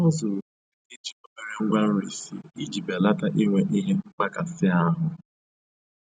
Ọ zụrụ nri e ji obere ngwa nri sie iji belata inwe ihe mmkpakasị ahụ